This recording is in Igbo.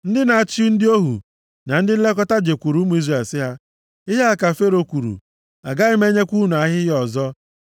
Ndị na-achị ndị ohu na ndị nlekọta jekwuuru ụmụ Izrel sị ha, “Ihe a ka Fero kwuru: ‘Agaghị m enyekwa unu ahịhịa ọzọ.